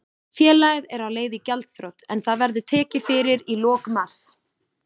Félagið er á leið í gjaldþrot en það verður tekið fyrir í lok mars.